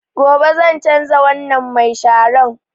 Gobe zan canza wannan mai sharan